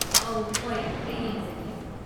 ꯑꯧ, ꯍꯣꯏ, ꯑꯩ ꯌꯦꯡꯖꯒꯦ꯫